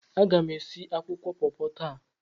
Aga m esi akwụkwọ pọpọ taa.